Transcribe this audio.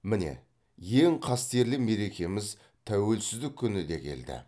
міңе ең қастерлі мерекеміз тәуелсіздік күні де келді